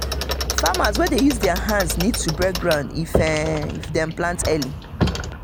farmers wey dey use their hands need to break ground if dem plant early.